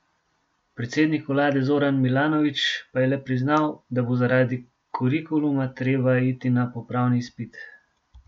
Predsednik vlade Zoran Milanović pa je le priznal, da bo zaradi kurikuluma treba iti na popravni izpit.